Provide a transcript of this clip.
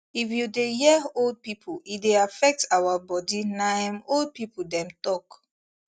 if u dey hear old people e dey affect our body na em old people dem talk